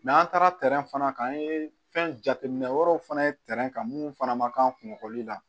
an taara fana kan an ye fɛn jateminɛ wɛrɛw fana ye kan minnu fana ma k'an kungoli la